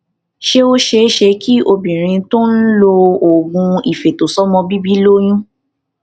ṣé ó ṣeé ṣe kí obìnrin tó ń ń lo oògùn ifeto somo bìbí ó lóyún